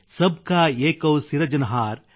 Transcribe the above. ಸಬ್ ಕಾ ಏಕೌ ಸಿರಜನಹಾರ್